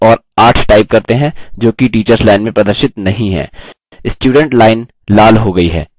अब संख्या सात और आठ type करते हैं जोकि teachers line में प्रदर्शित नहीं हैं